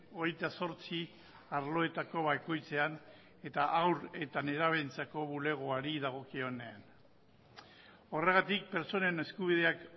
hogeita zortzi arloetako bakoitzean eta haur eta nerabeentzako bulegoari dagokionean horregatik pertsonen eskubideak